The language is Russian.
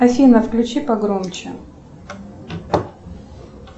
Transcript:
афина включи погромче